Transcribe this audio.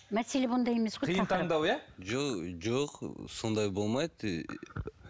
мәселе бұнда емес қиын таңдау иә жо жоқ сондай болмайды